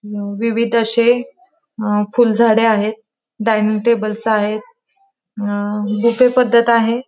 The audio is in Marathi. अ विविध अशे अ फुलझाडे आहे डायनिंग टेबल्स आहेत अ बूफे पद्धत आहे.